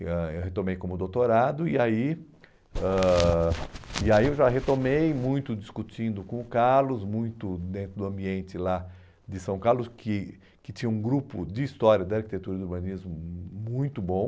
ãh eu retomei como doutorado e aí ãh e aí eu já retomei muito discutindo com o Carlos, muito dentro do ambiente lá de São Carlos, que que tinha um grupo de história da arquitetura e do urbanismo hum muito bom.